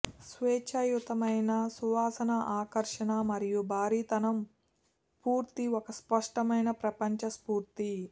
స్వేచ్ఛాయుతమైన సువాసన ఆకర్షణ మరియు భారీతనం పూర్తి ఒక స్పష్టమైన ప్రపంచ స్ఫూర్తి